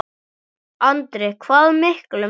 Andri: Hvað miklum?